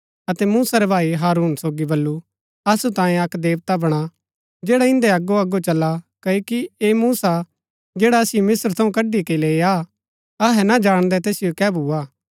अतै मूसा रै भाई हारून सोगी बल्लू असु तांयें अक्क देवता बणा जैडा इन्दै अगो अगो चला क्ओकि ऐह मूसा जैडा असिओ मिस्त्र थऊँ कड़ी के लैईआ अहै ना जाणदै तैसिओ कै भूआ